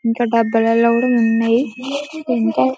ఇంకా డబ్బాలలో కూడా ఉన్నాయ్ ఇంకా--